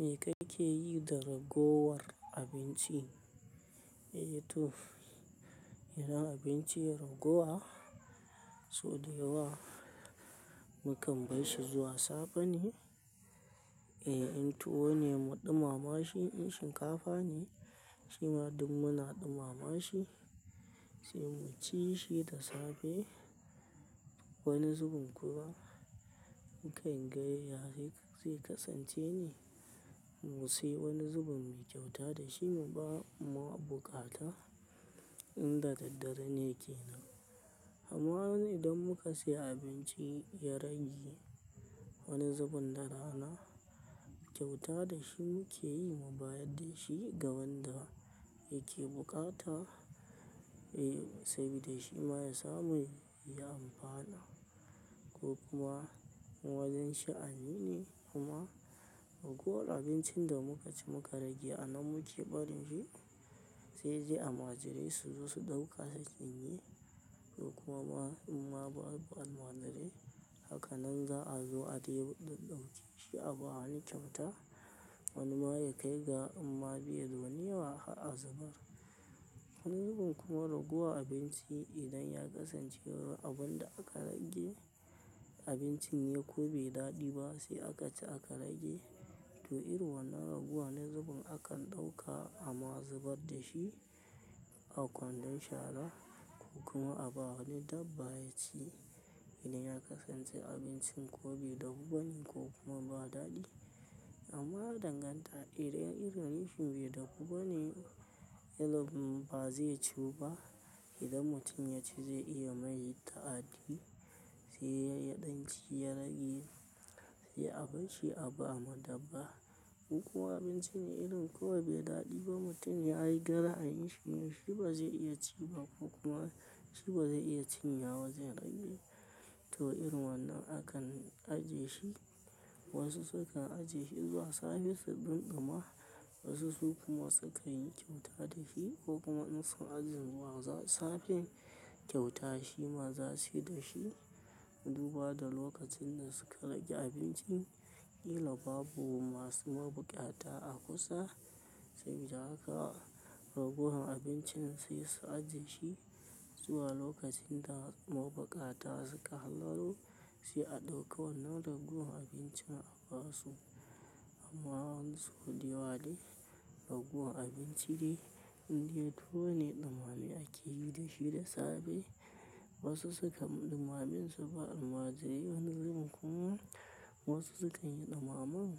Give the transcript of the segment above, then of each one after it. Me kake yi da ragowar abinci? Eh to, idan abinci yayi ragowa sau daya wa, mu kam bar shi zuwa safe ne, eh in tuwo ne mu ɗumama shi in shinkafa ne shima duk muna ɗumama shi sai mu ci shi da safe. Wani zubin kuma nikan ga ya zai kasance ne mu sayi wani zubin mu kyauta da shi mu ba ma mabuƙata in da daddare ne kenan. Amma idan muka sai abinci ya rage wani zubin da rana, kyauta da shi muke yi mu bayar da shi ga wanda yake buƙata, eh saboda shi ma ya samu ya amfana ko kuma in wajen sha, ani ne. Amma ragowar abincin da muka ci muka rage anan muke barin shi sai dai almajirai su zo su ɗauka su cinye ko kuma ma in ma babu al'majirai. Haka nan za a zo a ɗeba ɗanɗumci sai aba wa wani kyauta. Wani ma ya kai ga in ma bai da wani yawa, har azubar. Wani zubin kuma ragowar abinci idan ya kasance abun da aka rage abincin ne kobe yi daɗi ba sai aka ci aka rage to irin wannan ragowar wani zubin akan ɗauka a mazubar da shi a kwandon shara ko kuma a ba wa wani dabba yaci idan ya kasance abincin ko bai dafu bane ko kuma ba daɗi. Amma ya danganta idan irin abincin bai dafu ba ne, irin ba zai ciwu ba. Idan mutum ya ci zai iya mai ta'addi sai ya ɗan ci ya rage sai abinci a ba ma dabba ko kuma abinci ne irin ko bai daɗi ba mutum ya yi dan ra, a yin shi. Shi ba zai iya ci ba ko kuma shi ba zai iya cinye wa wajen rage to irin wannan akan ajiye shi. Wasu sukan ajiye shi zuwa safe su ɗin ɗima, wasu su kuma sukan yi kyauta da shi ko kuma in su ajiye zuwa safen kyauta shi ma za su yi da shi. Duba da lokacin da suka rage abincin, ƙila babu masu mabuƙata a kusa sabida haka ragowar abincin sai su ajiye shi zuwa lokacin da mabuƙata suka hallaro sai a ɗauka. Wannan ragowar abincin a ba su. Amma sauda yawa dai ragowar abinci de indai tuwo ne ɗumamame ake yi da shi da safe. Wasu sukan ɗumame su ba almajirai wani zubin kuma wasu sukan yi ɗumamen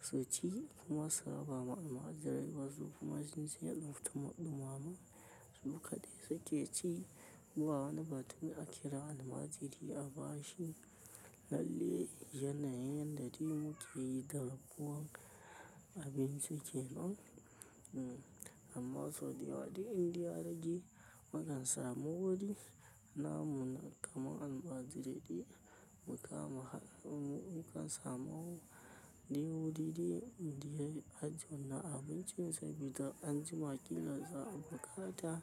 su ci kuma su raba ma almajirai wasu kuma sun ce ɗumaman su kaɗai suke ci. Ba wani batun aki ra almajiri a ba shi lalle yanayin yanda dai muke yi da ragowar abinci kenan. Amma sau dayawa dai indai ya rage mukansa mu wuri na muna kama almajirai de. Mukama mukan samu dai wuri dai a jiye wannan abinci sabida anjima kila za'a bukata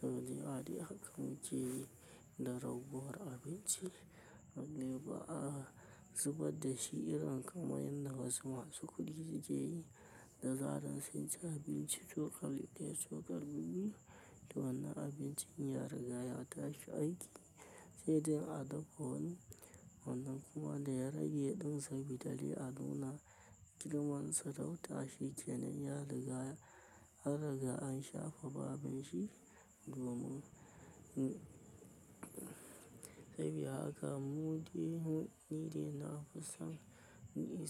sau dayawa dai haka muke yi da raguwar abinci. Nan dai ba'a zubar da shi irin kamar yanda wasu masu kuɗi sukeyi da zarar sun ci abinci cokali daya, cokali biyu, to wannan abincin ya riga ya tashi aiki sai dai a dafa wani. Wannan kuma da ya rage ɗin sabida dai a nuna. Girman sarauta shi kenan ya raga. An riga an shafe babin shi domin sabida haka mu dai ni dai na fisan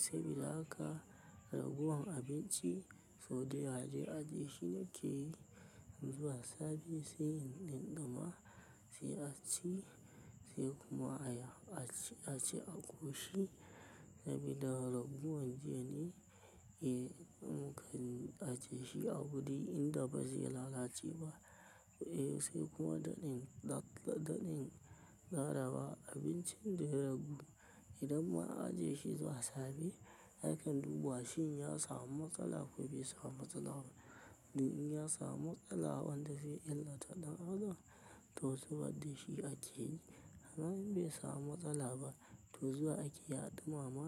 sabida haka ragowar abinci sau dayawa dai ajiye shi na ke yi zuwa safe sai in ɗumma sai a ci sai kuma a yi a ci a ci a ƙoshi sabida ragowar jiya ne kan ajiye shi. Abin dai in da ba zai lalace ba. Eh sai kuma daɗin daɗin karawa abincin da ya ragu idan ma an ajiye shi zuwa safe akan dubawa shin ya samu matsala ko bai samu matsala ba. Duk in ya samu matsala wanda zai illata ɗan adam to zubar da shi ake yi. Amma in bai samu matsala ba to zuwa akeyi a ɗumama.